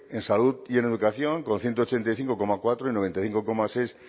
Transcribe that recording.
en salud y en educación con ciento ochenta y cinco coma cuatro y noventa y cinco coma seis